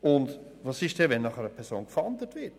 Und was geschieht, wenn nach einer Person gefahndet wird?